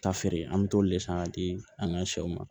Ta feere an mɛ t'o de san k'a di an ka sɛw ma